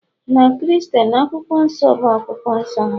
na Kristen, Akwụkwọ Nsọ bụ akwụkwọ nsọ ha